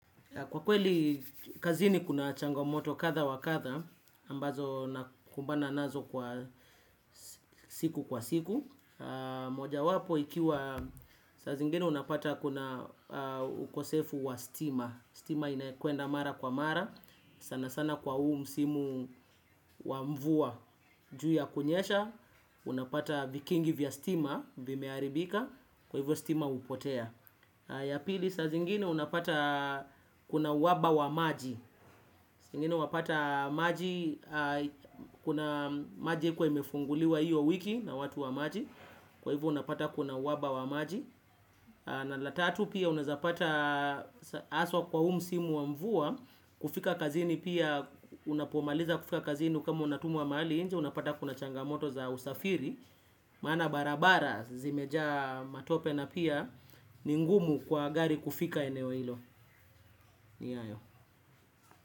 Kwa kweli, kazini kuna changomoto kadha wa kadha, ambazo nakumbana nazo kwa siku kwa siku. Moja wapo ikiwa, saa zingine unapata kuna ukosefu wa stima. Stima inaekuenda mara kwa mara, sana sana kwa uu msimu wa mvua juu ya kunyesha, unapata vikingi vya stima, vimeharibika, kwa hivyo stima hupotea. Ya pili saa zingine unapata kuna uhaba wa maji. Zingine unapata maji kuna maji kwa imefunguliwa hiyo wiki na watu wa maji. Kwa hivyo unapata kuna uhaba wa maji. Na la tatu pia unazapata haswa kwa huu msimu wa mvua. Kufika kazini pia unapomaliza kufika kazini kama unatumwa mahalli nje unapata kuna changamoto za usafiri. Maana barabara zimejaa matope na pia ni ngumu kwa gari kufika eneo hilo. Ni ayo.